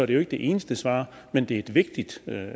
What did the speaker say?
det jo ikke det eneste svar men det er et vigtigt